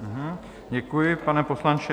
Děkuji, pane poslanče.